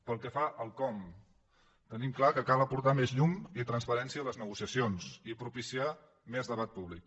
pel que fa al com tenim clar que cal aportar més llum i transparència a les negociacions i propiciar més debat públic